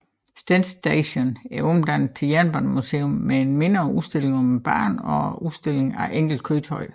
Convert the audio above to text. Stend Station er omdannet til jernbanemuseum med en mindre udstilling om banen og udstilling af enkelte køretøjer